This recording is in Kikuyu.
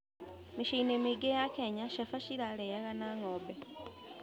Mĩciĩ-inĩ mĩingĩ ya Kenya, cabaci ĩrarĩaga na ng'ombe.